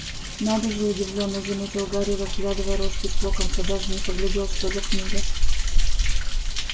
надо же удивлённо заметил гарри разглядывая роспись локонса даже не поглядел что за книга